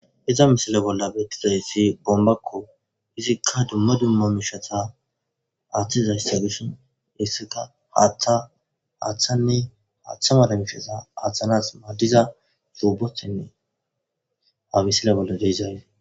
iza misile bolla beettizayssi bombakko izikka dumma dumma mishata aaththizayssa dishi hisseka haaththa aaththanne haaththa maada mishasa aaththanas maaddiza suubothenne amisila bolla deizay